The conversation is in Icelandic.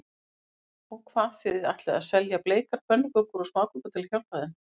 Sólveig: Og hvað, þið ætlið að selja bleikar pönnukökur og smákökur til að hjálpa þeim?